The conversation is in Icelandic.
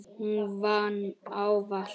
Hún vann ávallt úti.